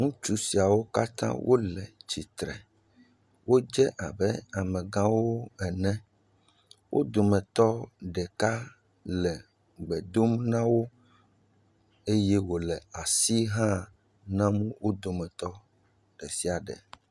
Ŋutsu siawo katã wole tsitre. Wodze abe amegãwo ene. Wo dometɔ ɖeka le gbe dom na wo eye wòle asi hã nam wo dometɔ ɖe sia ɖe.